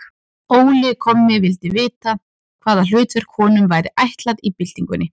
Óli kommi vildi vita, hvaða hlutverk honum væri ætlað í byltingunni.